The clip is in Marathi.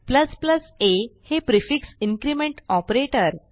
a हे प्रिफिक्स इन्क्रिमेंट ऑपरेटर